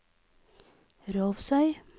Rolvsøy